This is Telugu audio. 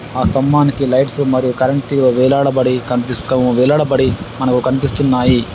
ఆ స్థంభానికి లైట్స్ మరియు కరెంటు తీగ వేలాడబడి కనిపిస్తూ వేలాడబడి మనకు కనిపిస్తున్నాయి.